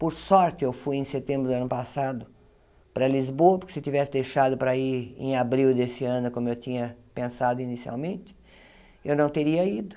Por sorte, eu fui em setembro do ano passado para Lisboa, porque se tivesse deixado para ir em abril desse ano, como eu tinha pensado inicialmente, eu não teria ido.